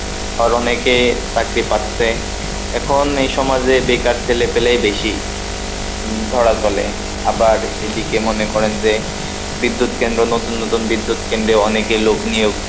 আর অনেকে চাকরি পাচ্ছে, এখন এই সমাজে বেকার ছেলে পেলেই বেশি, ধরা চলে, আবার এদিকে মনে করেন যে বিদ্যুৎ কেন্দ্র নতুন নতুন বিদ্যুৎ কেন্দ্রে অনেকে লোক নিয়োগ,